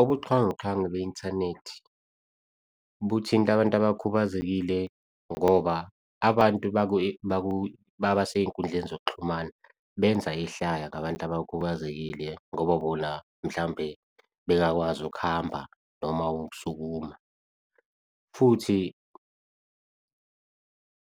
Ubuxhwanguxhwangu be-inthanethi buthinta abantu abakhubazekile ngoba abantu basey'nkundleni zokuxhumana benza ihlaya ngabantu abakhubazekile ngoba bona mhlampe bengakwazi ukuhamba noma ukusukuma. Futhi